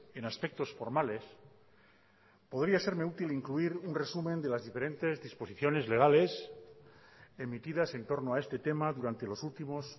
en aspectos formales podría serme útil incluir un resumen de las diferentes disposiciones legales emitidas entorno a este tema durante los últimos